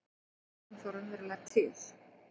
Er hún þá raunverulega til?